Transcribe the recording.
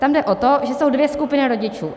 Tam jde o to, že jsou dvě skupiny rodičů.